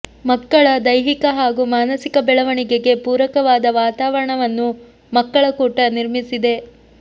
ಮಕ್ಕಳ ದೈಹಿಕ ಹಾಗೂ ಮಾನಸಿಕ ಬೆಳವಣಿಗೆಗೆ ಪೂರಕವಾದ ವಾತಾವರಣವನ್ನು ಮಕ್ಕಳ ಕೂಟ ನಿರ್ಮಿಸಿದೆ